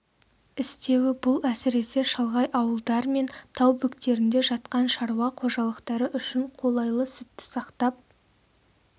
істеуі бұл әсіресе шалғай ауылдар мен тау бөктерінде жатқан шаруа қожалықтары үшін қолайлы сүтті сақтап